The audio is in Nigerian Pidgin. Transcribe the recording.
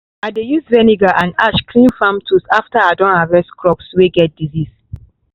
i dey use vinegar and ash clean farm tools after i don harvest crops way get disease.